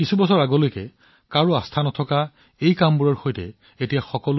কেইবছৰমান আগলৈকে কোনেও ইয়াক বিশ্বাস কৰা নাছিল কিন্তু আজি ই প্ৰণালীটোৰ এটা অংশ হৈ পৰিছে